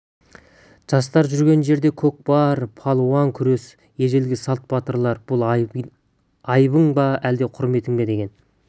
жастар жүрген жерде көкпар балуан күресі ежелгі салт батыр бұл айыбың ба әлде құрметің бе деген